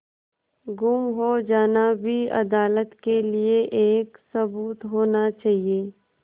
गुम हो जाना भी अदालत के लिये एक सबूत होना चाहिए